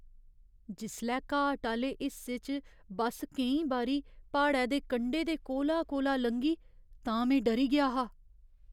जिसलै घाट आह्‌ले हिस्से च बस केईं बारी प्हाड़ै दे कंढे दे कोला कोला लंघी तां में डरी गेआ हा।